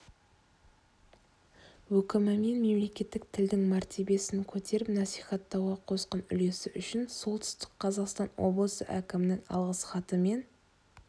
өкімімен мемлекеттік тілдің мәртебесін көтеріп насихаттауға қосқан үлесі үшін солтүстік қазақстан облысы әкімінің алғыс хатымен